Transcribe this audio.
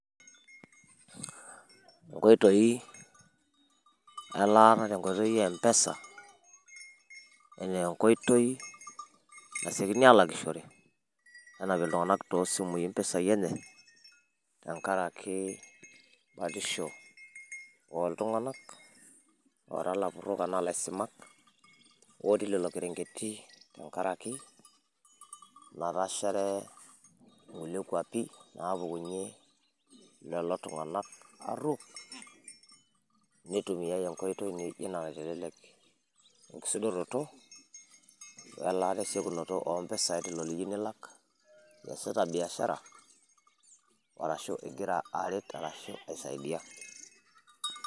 inkoitoi elaata tenkata empesa, anaa enkoitoi nasiokini aalakishore, nenap iltunganak too simui impisai enye. tenkaraki batisho ooltung'anak, oora ilapurok aashu aa ilaisimak, otii lelo kerengeti tenkaraki, natashare kulie kuapi, naapukunye lelo tunganak, neitumiyaae enkoitoi naijo ina naitelelk enkisudoroto, welaata esiokinoto oompisai teniyieu nilak. iasita biashara ashu igira aret arashu aisaidia.